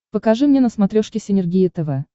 покажи мне на смотрешке синергия тв